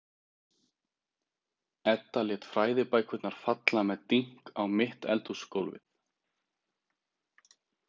Edda lét fræðibækurnar falla með dynk á mitt eldhúsgólfið.